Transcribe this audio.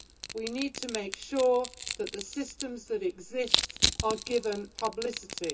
We need to make sure that the systems that exist are given publicity.